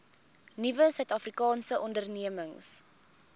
nuwe suidafrikaanse ondernemings